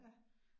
Ja